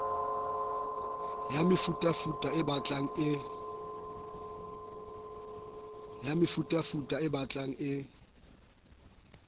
ya mefutafuta e batlang e